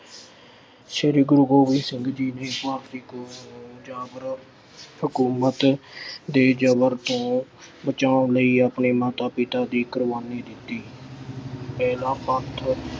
ਸ਼੍ਰੀ ਗੁਰੂ ਗੋਬਿੰਦ ਸਿੰਘ ਜੀ ਦੀ ਸ਼ਹਾਦਤੀ ਕੋਲੋਂ ਜਾਂ ਫਿਰ ਹਕੂਮਤ ਦੇ ਜ਼ਬਰ ਤੋਂ ਬਚਾਉਣ ਲਈ ਆਪਣੇ ਮਾਤਾ-ਪਿਤਾ ਦੀ ਕੁਰਬਾਨੀ ਦਿੱਤੀ ਪਹਿਲਾ ਪੰਥ